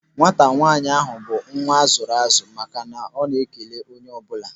Nwata nwaanyị ahụ bụ nwa azụrụ azụ maka na ọ na-ekele onye ọ bụla.